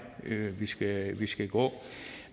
vi skal vi skal gå